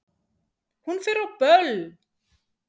Hún fer á böll!